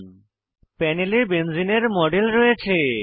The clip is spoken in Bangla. প্যানেলে বেনজেনে বেঞ্জিন এর মডেল রয়েছে